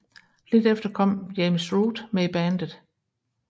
Lidt efter kom James Root med i bandet